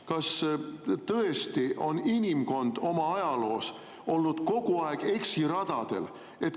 Kas tõesti on inimkond oma ajaloo jooksul olnud kogu aeg eksiradadel?